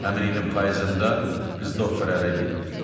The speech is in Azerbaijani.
Həmin ilin payızında qız doktorə ərə getdi.